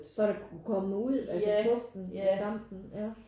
Så det kunne komme ud altså fugten i kanten ja